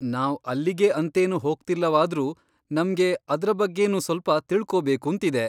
ನಾವ್ ಅಲ್ಲಿಗೆ ಅಂತೇನು ಹೋಗ್ತಿಲ್ಲವಾದ್ರೂ ನಮ್ಗೆ ಅದ್ರ ಬಗ್ಗೆನೂ ಸ್ಪಲ್ಪ ತಿಳ್ಕೋಬೇಕೂಂತಿದೆ.